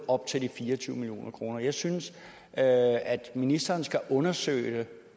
op til fire og tyve million kroner jeg synes at at ministeren skal undersøge